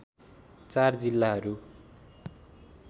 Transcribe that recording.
४ जिल्लाहरू